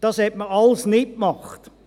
Das hat man alles nicht gemacht.